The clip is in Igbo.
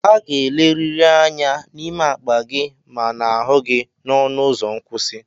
A ga-eleriri anya n'ime akpa gị ma n'ahụ gị n'ọnụ ụzọ nkwụsị.